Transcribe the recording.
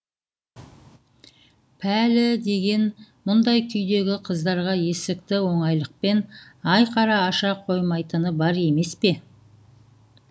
пәлі деген мұндай күйдегі қыздарға есікті оңайлықпен айқара аша қоймайтыны бар емес пе